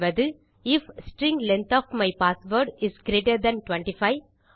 சொல்வது if string length of my password is greater than 25